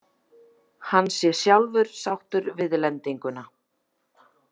Hann sé sjálfur sáttur við lendinguna